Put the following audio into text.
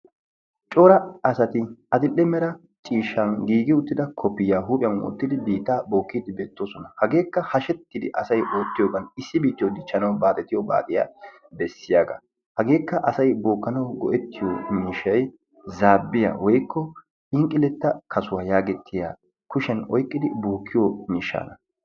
Cora asati adl''e mera ciishshan giigi uttida kopiyaa huuphiyan wottidi oosuwa ootide beettoosona. Hegekka hashshetidi asay oottiyoogan issi biittiyo dichchanaw asay oottiyogaan issi biittiyo dichchanaw baaxxetiyo baaxxiya beessiyaaga. hagekka asay bookanaw miishshay zaabbiya woykko phinqqileta kassuwaa yaagetiya kushiyaan oyqqidi bookiyo miishshaa.